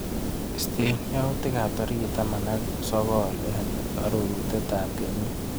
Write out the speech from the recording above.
Istee yautikap tarik taman ak sokol eng arorutap kenyit.